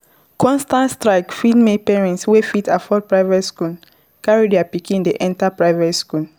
Constant strike fit make parents wey fit afford private school carry their pikin dem enter private school